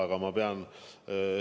Aga ma pean ...